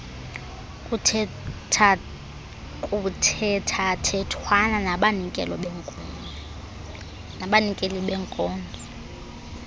kuthethathethwana nabanikeli benkonzo